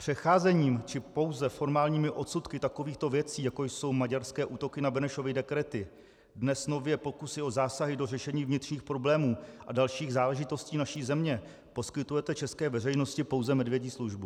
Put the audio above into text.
Přecházením či pouze formálními odsudky takovýchto věcí, jako jsou maďarské útoky na Benešovy dekrety, dnes nově pokusy o zásahy do řešení vnitřních problémů a dalších záležitostí naší země, poskytujete české veřejnosti pouze medvědí službu.